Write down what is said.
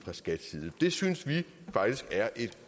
det synes vi faktisk er et